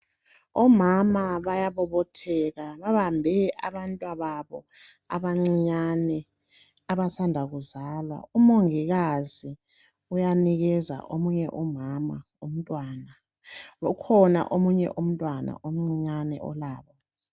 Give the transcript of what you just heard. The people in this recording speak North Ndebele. Omama bayabobotheka ,babambe abantwa babo abancinyane abasanda kuzalwa. Umongikazi uyanikeza omunye umama umntwana. Ukhona omunye umntwana omncinyane olabo.